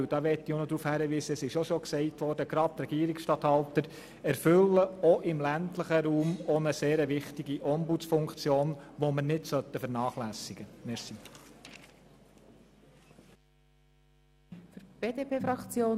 Es wurde bereits angesprochen – und ich möchte auch noch darauf hinweisen –, dass die Regierungsstatthalter gerade auch im ländlichen Raum eine wichtige Ombudsfunktion erfüllen, die wir nicht vernachlässigen sollten.